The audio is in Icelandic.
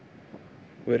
við